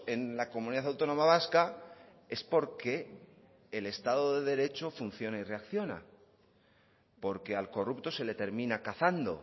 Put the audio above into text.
en la comunidad autónoma vasca es porque el estado de derecho funciona y reacciona porque al corrupto se le termina cazando